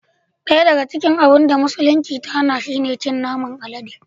Daya daga cikin abun da musulunci ta hana shi ne cin naman alade